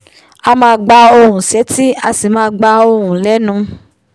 a máa gbóhùn sétí a sì máa gba ohùn lẹ́nù